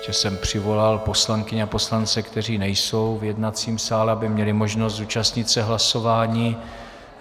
Ještě jsem přivolal poslankyně a poslance, kteří nejsou v jednacím sále, aby měli možnost zúčastnit se hlasování.